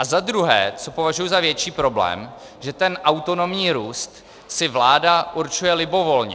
A za druhé, co považuji za větší problém, že ten autonomní růst si vláda určuje libovolně.